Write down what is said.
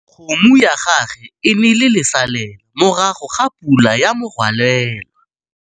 Kgomo ya gagwe e ne e le lesalêla morago ga pula ya morwalela.